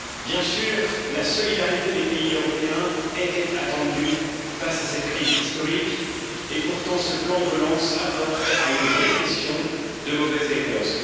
Bien sûr, la solidarité des pays européens était attendue face à cette crise historique, et pourtant ce plan de relance apporte à une vraie question de mauvaises réponses.